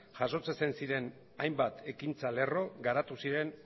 jasotzen ziren hainbat ekintza lerro garatu ziren